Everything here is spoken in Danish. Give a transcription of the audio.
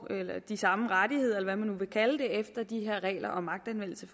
de samme rettigheder eller hvad man nu vil kalde det efter de her regler om magtanvendelse